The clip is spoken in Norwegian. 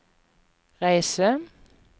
reise